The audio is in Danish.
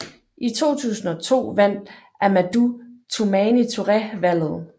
I 2002 vandt Amadou Toumani Touré valget